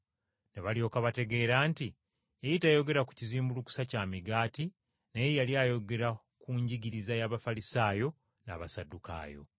Ne balyoka bategeera nti yali tayogera ku kizimbulukusa kya migaati naye yali ayogera ku njigiriza y’Abafalisaayo n’Abasaddukaayo.